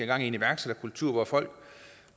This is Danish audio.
gang i en iværksætterkultur hvor folk